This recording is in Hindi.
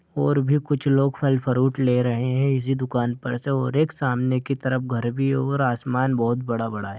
और भी कुछ लोग फल फ्रूट ले रहे हैं इसी दुकान पर से और एक सामने की तरफ घर भी है और आसमान बहुत बड़ा-बड़ा है।